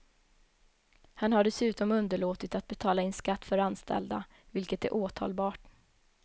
Han har dessutom underlåtit att betala in skatt för anställda, vilket är åtalbart.